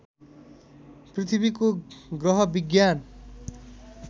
पृथ्वीको ग्रह विज्ञान